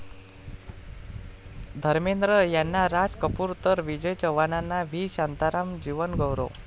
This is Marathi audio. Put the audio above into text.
धर्मेंद्र यांना राज कपूर तर विजय चव्हाणांना व्ही शांताराम जीवनगौरव